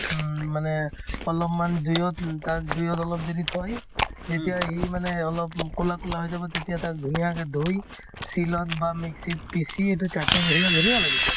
উম, মানে অলপমান জুইত উম তাত জুইত অলপ দেৰি থৈ যেতিয়া ই মানে অলপ কলা কলা হৈ যাব তেতিয়া তাক ধুনীয়াকে ধুই শিলত বা mix ত পিচি সেইটো chutney ৰ নিচিনা ধুনীয়া লাগে এইটো